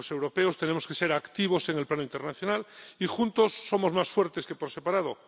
Los europeos tenemos que ser activos en el plano internacional y juntos somos más fuertes que por separado.